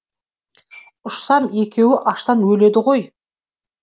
ұшсам екеуі аштан өледі ғой